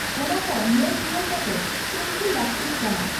ᱚᱱᱟ ᱠᱚ ᱧᱮᱞ ᱨᱩᱣᱟᱹᱲ ᱠᱟᱛᱮ ᱛᱩᱱᱠᱷᱤ ᱞᱟᱜᱛᱤᱜ ᱠᱟᱱᱟ ᱾